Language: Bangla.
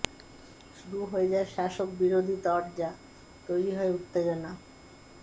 শুরু হয়ে যায় শাসক বিরোধী তরজা তৈরি হয় উত্তেজনা